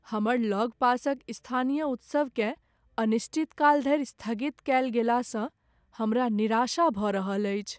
हमर लगपासक स्थानीय उत्सवकेँ अनिश्चितकाल धरि स्थगित कयल गेलासँ हमरा निराशा भऽ रहल अछि।